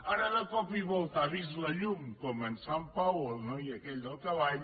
ara de cop i volta ha vist la llum com en sant pau el noi aquell del cavall